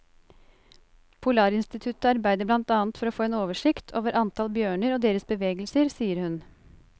Polarinstituttet arbeider blant annet for å få en oversikt over antall bjørner og deres bevegelser, sier hun.